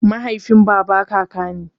Mahaifin baba kaka ne.